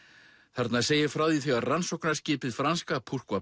þarna segir frá því þegar rannsóknarskipið franska